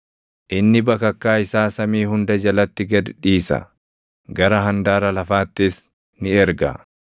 Inni bakakkaa isaa samii hunda jalatti gad dhiisa; gara handaara lafaattis ni erga.